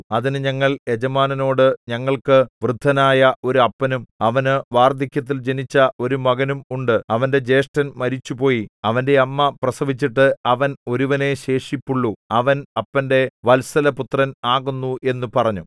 അതിന് ഞങ്ങൾ യജമാനനോട് ഞങ്ങൾക്കു വൃദ്ധനായ ഒരു അപ്പനും അവന് വാർദ്ധക്യത്തിൽ ജനിച്ച ഒരു മകനും ഉണ്ട് അവന്റെ ജ്യേഷ്ഠൻ മരിച്ചുപോയി അവന്റെ അമ്മ പ്രസവിച്ചിട്ട് അവൻ ഒരുവനെ ശേഷിപ്പുള്ളു അവൻ അപ്പന്റെ വത്സല പുത്രൻ ആകുന്നു എന്നു പറഞ്ഞു